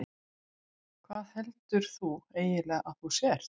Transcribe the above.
Hvað heldur þú eiginlega að þú sért?